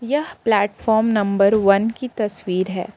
यह platform number one की तस्वीर है।